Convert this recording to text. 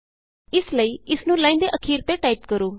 ਇਸ ਲਈ ਇਸ ਨੂੰ ਲਾਈਨ ਦੇ ਅਖੀਰ ਤੇ ਟਾਈਪ ਕਰੋ